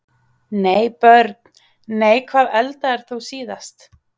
Nei Börn: Nei Hvað eldaðir þú síðast?